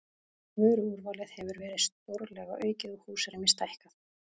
Vöruúrvalið hefur verið stórlega aukið og húsrými stækkað.